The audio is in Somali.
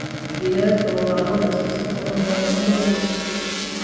Digaagga waxaa loo dhisay si qurux badan in loo labbisto.